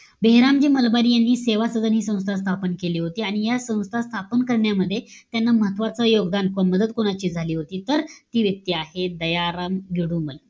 बेहेरामजी मलबार यांनी, सेवा सदन हि संस्था स्थापन केली होती. आणि या संस्था स्थापन करण्यामध्ये त्यांना महत्वाचं योगदान कोण, मदत कोणाची झाली होती? तर, ती व्यक्ती आहे, दयाराम जोडुमल.